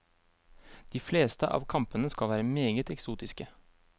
De fleste av kampene skal være meget eksotiske.